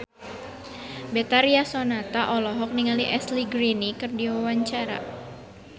Betharia Sonata olohok ningali Ashley Greene keur diwawancara